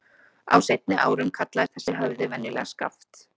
Á seinni árum kallaðist þessi höfði venjulega Skaft.